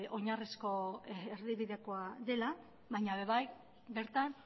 oinarrizko erdibidekoa dela baina ere bai bertan